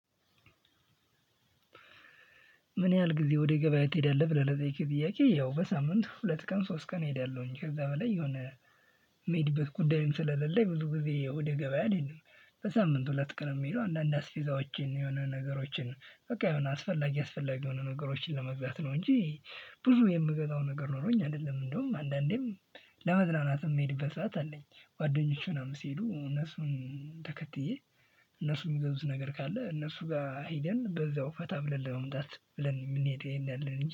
ምን ያህል ጊዜ ወደ ገበያ ትሄዳለህ ብለህ ለጠየከኝ ጥያቄ? ያው በሳምንት ሁለት ቀን ሶስት ቀን እሄዳለሁኝ ከዛ በላይ የሆነ የምሄድበት ጉዳይም ስለሌለኝ ብዙ ጊዜ ወደ ገበያ አልሄድም። በሳምንት ሁለት ቀን ምሄደው አንዳንድ አስቤዛዎችን የሆነ ነገሮችን በቃ የሆነ አስፈላጊ አስፈላጊ የሆኑ ነገሮችን ለመግዛት ነው እንጂ ብዙ የምገዛው ነገር ኖሮኝ አይደለም። እንደውም አንዳንዴም ለመዝናናት የምሄድበት ሰዓት አለኝ ጓደኞች ምናምን ሲሄዱ እነሱን ተከትዬ እነሱ የሚገዙት ነገር ካለ እነሱ ጋር ሄደን በዛው ፈታ ብለን ለመምጣት ብለን እንሄዳለን